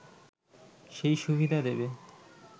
সেই সুবিধা দেবে